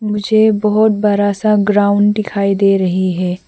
मुझे बहुत बड़ा सा ग्राउंड दिखाई दे रही है।